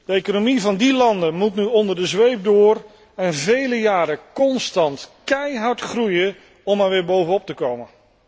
De economie van die landen moet nu onder de zweep door en vele jaren constant keihard groeien om er weer bovenop te komen.